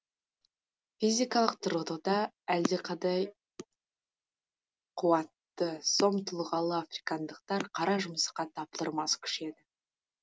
физикалық тұрғыда әлдеқайда қуатты сом тұлғалы африкандықтар қара жұмысқа таптырмас күш еді